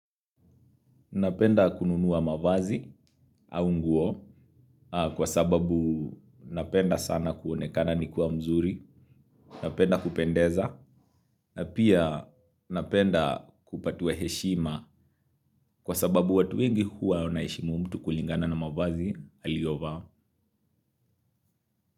Napenda kununua mavazi au nguo kwa sababu napenda sana kuonekana nikiwa mzuri napenda kupendeza na pia napenda kupatiwa heshima kwa sababu watu wengi huwa wanaheshimu mtu kulingana na mavazi aliyovaa.